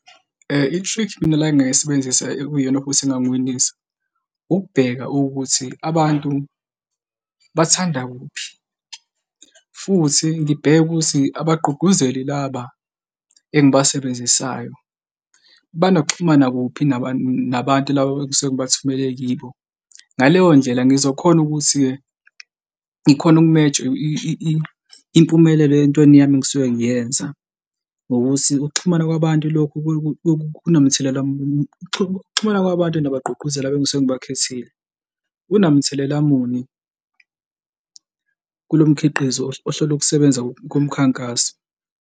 I-trick mina le engayisebenzisa ekuyiyona futhi engangiwinisa ukubheka ukuthi abantu bathanda kuphi futhi ngibheke ukuthi abagqugquzeli laba engibasebenzisayo banokuxhumana kuphi nabantu labo esengibathumele kibo. Ngaleyo ndlela ngizokhona ukuthi-ke ngikhone ukumeja impumelelo entweni yami engisuke ngiyenza ngokuthi ukuxhumana kwabantu lokhu kunamthelela muni ukuxhumana kwabantu nabagqugquzeli, engisengisuke ngibakhethile kunamthelela muni kulo mkhiqizo ohlole ukusebenza komkhankaso.